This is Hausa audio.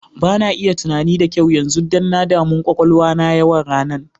Ba na iya tunani da kyau yanzu, dan na damu kwakwalwa na yawan ranan.